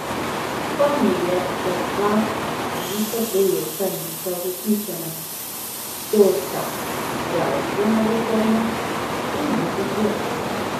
Spomnil je, da dva velika projekta nista uresničena, to sta zdravstvena reforma in drugi tir.